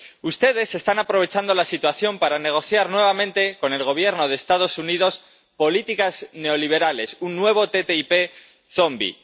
Ustedes están aprovechando la situación para negociar nuevamente con el Gobierno de los Estados Unidos políticas neoliberales, un nuevo TTIP zombi.